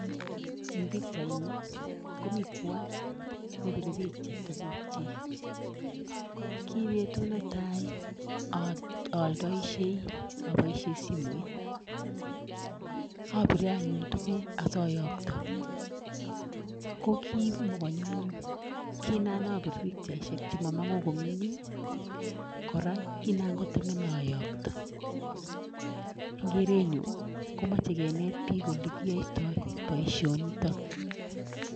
Ing pikchaini komi kwony ne pire pikcha tukukchik, ki betut ne tai aldoisie aboisie simoit, apire anyun tukuk asoyokto, ko kimo konyumnyum, ki nan apir pikchaisiek che momongu komie, kora kinangotemena ayokto, ing kerenyun komache kenet piik ole kiyoitoi boisionitok.